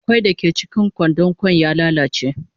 Kwai dake cikin kwandon kwan ya lalace.